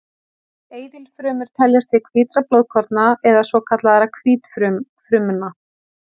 Eitilfrumur teljast til hvítra blóðkorna eða svokallaðra hvítfrumna.